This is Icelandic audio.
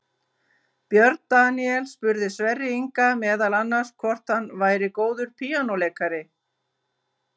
Björn Daníel spurði Sverri Inga meðal annars hvort hann væri góður píanóleikari.